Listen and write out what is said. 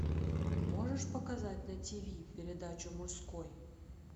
можешь показать на тиви передачу мужской